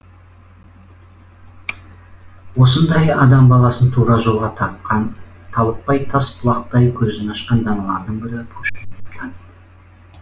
осындай адам баласын тура жолға тартқан талықпай тас бұлақтай көзін ашқан даналардың бірі пушкин деп таниды